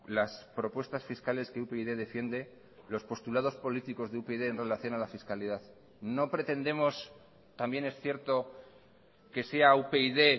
las propuestas fiscales que upyd defiende los postulados políticos de upyd en relación a la fiscalidad no pretendemos también es cierto que sea upyd